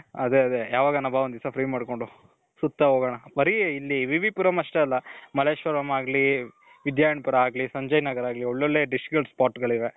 ಅದೇ ಅದೇ ಯಾವಾಗಾನ ಬಾ ಒಂದಿನ free ಮಾಡ್ಕೊಂಡು .ಸುತ್ತ ಹೋಗೋಣ.ಬರೀ ಇಲ್ಲಿ ವಿ ವಿ ಪುರಂ ಅಷ್ಟೆ ಅಲ್ಲ. ಮಲ್ಲೇಶ್ವರಂ ಆಗ್ಲಿ, ವಿಧ್ಯಾರಣ್ಯಪುರ ಆಗ್ಲಿ, ಸಂಜಯ್ ನಗರ್ ಆಗ್ಲಿ ಒಳ್ಳೊಳ್ಳೆ dish ಗಳ spot ಗಳಿವೆ.